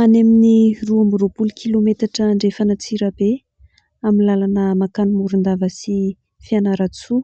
Any amin'ny roa amby roapolo kilometatra andrefana Antsirabe, amin'ny lalana mankany Morondava sy Fianarantsoa